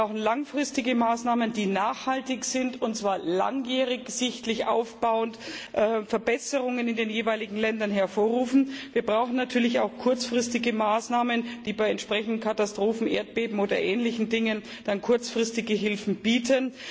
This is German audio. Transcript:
Wir brauchen langfristige Maßnahmen, die nachhaltig sind, und zwar langjährig sichtlich aufbauend Verbesserungen in den jeweiligen Ländern hervorrufen. Wir brauchen natürlich auch kurzfristige Maßnahmen, die bei entsprechenden Katastrophen Erdbeben oder ähnlichen Dingen kurzfristige Hilfen bieten.